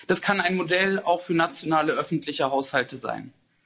Das kann ein Modell auch für nationale öffentliche Haushalte sein.